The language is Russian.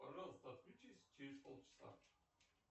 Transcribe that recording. пожалуйста отключись через полчаса